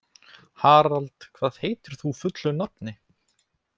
Harald, hvað heitir þú fullu nafni?